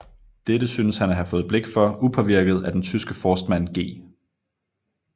Dette synes han at have fået blik for upåvirket af den tyske forstmand G